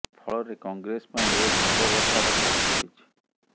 ଫଳରେ କଂଗ୍ରେସ ପାଇଁ ଏବେ ମୁଣ୍ଡ ବଥାର କାରଣ ହୋଇଛି